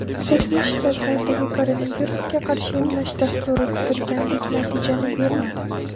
Qo‘shma Shtatlardagi koronavirusga qarshi emlash dasturi kutilgandek natijani bermadi.